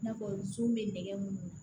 I n'a fɔ sun bɛ nɛgɛ mun na